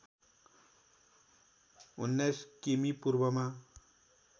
१९ किमि पूर्वमा